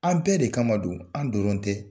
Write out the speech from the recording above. An bɛɛ de kama don, an dɔrɔn tɛ.